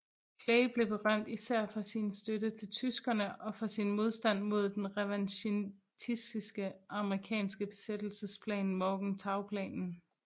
Clay blev berømt især for sin støtte til tyskerne og for sin modstand mod den revanchistiske amerikanske besættelsesplan Morgenthauplanen